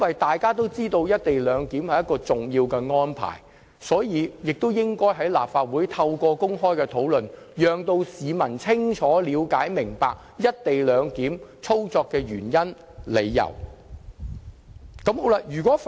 大家也知道，"一地兩檢"屬重要安排，所以有必要透過立法會的公開討論，讓市民清楚了解"一地兩檢"操作的原因。